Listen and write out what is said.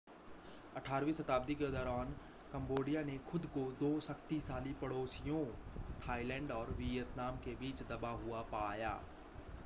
18वीं शताब्दी के दौरान कम्बोडिया ने खुद को दो शक्तिशाली पड़ोसियों थाईलैंड और वियतनाम के बीच दबा हुआ पाया